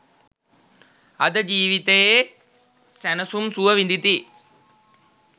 අද ජීවිතයේ සැනසුම් සුව විඳිති.